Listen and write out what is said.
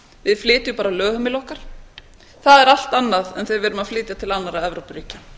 við flytjum bara lögheimili okkar það er allt annað en þegar við erum að flytja til annarra evrópuríkja